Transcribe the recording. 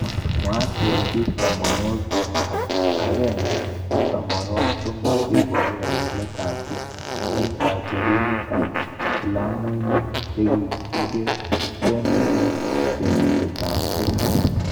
mwae kele bik tamwanwakik akemge ak tamanwakik somok cheiboru kakilet ab kei eng kacherunet ab vilamuinik chekikereineng chengset ab kenya.